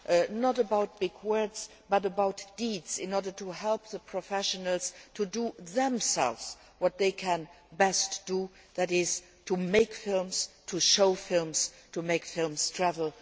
It is not about big words but about deeds, in order to help the professionals to do themselves what they can best do that is, to make films, to show films, to make films travel.